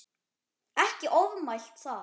Ekkert ofmælt þar.